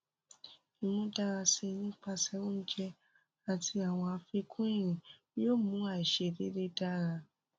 imudarasi nipasẹ ounjẹ ati awọn afikun irin yoo mu aiṣedede dara